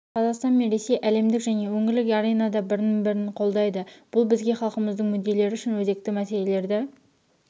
қазақстан мен ресей әлемдік және өңірлік аренада бір-бірін қолдайды бұл бізге халқымыздың мүдделері үшін өзекті мәселелерді